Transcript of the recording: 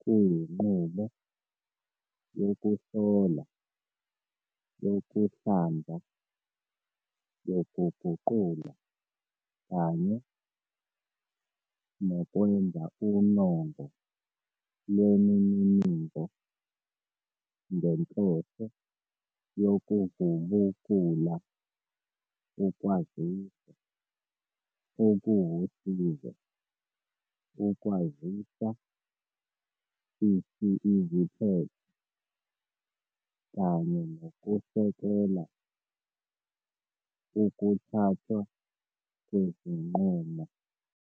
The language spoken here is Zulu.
kuyinqubo yokuhlola, yokuhlanza, yokuguqula, kanye nokwenza unongo lwemininingo ngenhloso yokuvubukula ukwaziswa okuwusizo, ukwazisa iziphetho, kanye nokusekela ukuthathwa kwezinqumo.